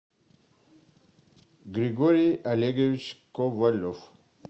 григорий олегович ковалев